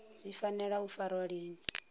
dzi fanela u farwa lini